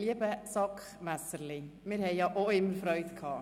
Lieber «SAK-Messerli», wir haben ja auch immer Freude gehabt.